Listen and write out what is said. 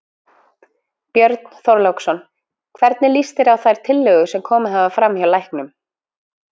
Björn Þorláksson: Hvernig líst þér á þær tillögur sem komið hafa fram hjá læknum?